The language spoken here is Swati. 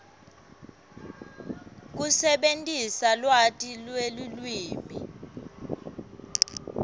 kusebentisa lwati lwelulwimi